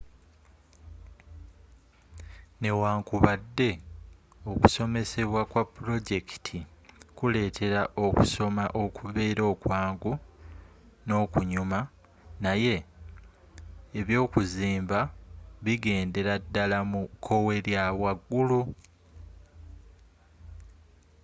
newankubadde okusomesebwa kwa pulojekiti kuleetera okusoma okubeera okwangu n'okunyuma naye ebyokuzimba bigendera ddala mu kkowe lya waggulu